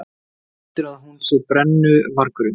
Heldurðu að hún sé brennuvargurinn?